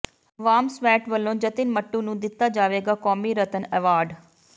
ਵਾਮਸਵੈਟ ਵਲੋਂ ਜਤਿਨ ਮੱਟੂ ਨੂੰ ਦਿੱਤਾ ਜਾਵੇਗਾ ਕੌਮੀ ਰਤਨ ਐਵਾਰਡ